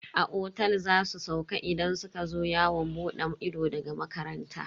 A otel za su sauka idan suka zo yawon bude ido daga makaranta.